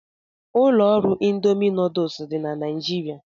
Ụlọ ọrụ Ịndomì nuduls dị na Naijiria.